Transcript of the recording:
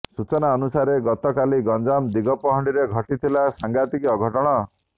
ସୂଚନା ଅନୁସାରେ ଗତକାଲି ଗଞ୍ଜାମ ଦିଗପହଣ୍ଡିରେ ଘଟିଥିଲା ସାଂଘାତିକ ଅଘଟଣ